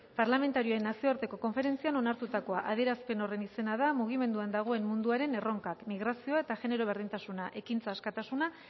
parlamentarioen nazioarteko konferentzian onartutakoa adierazpen horren izena da mugimenduan dagoen munduaren erronkak migrazioa eta genero berdintasuna ekintza askatasuna